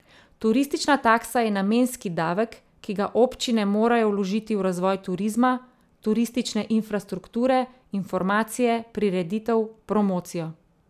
Turistična taksa je namenski davek, ki ga občine morajo vložiti v razvoj turizma, turistične infrastrukture, informacije, prireditev, promocijo.